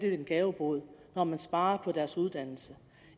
er en gavebod når man sparer på deres uddannelse